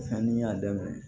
Sanni n y'a daminɛ